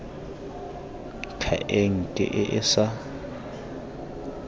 ka enke e e sa